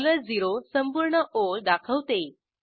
0 संपूर्ण ओळ दाखवते